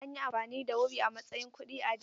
An yi amfani da wuri a matsayin kuɗi a da.